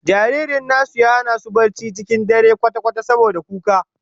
Jaririn nasu ya hana su barci cikin dare kwata-kwata saboda kuka